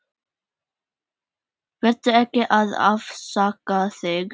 Vertu ekki að afsaka þig.